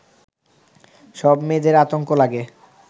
সব মেয়েদের আতঙ্ক লাগে